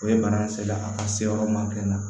O ye bana in se la a ka se yɔrɔ ma kɛ ne na